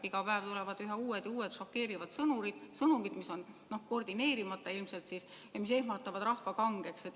Iga päev tulevad üha uued ja uued šokeerivad sõnumid, sõnumid, mis on ilmselt koordineerimata ja mis ehmatavad rahva kangeks.